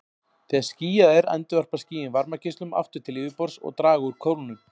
Þegar skýjað er endurvarpa skýin varmageislum aftur til yfirborðs og draga úr kólnun.